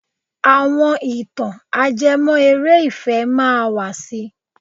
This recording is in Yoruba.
Àwọn ìtàn ajẹmọ́ eré ìfẹ́ máa wà si.